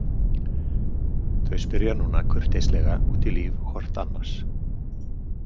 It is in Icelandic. Þau spyrja núna kurteislega út í líf hvort annars.